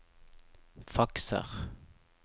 fakser